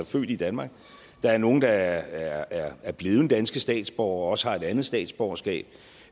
født i danmark der er nogle der er blevet danske statsborgere og også har et andet statsborgerskab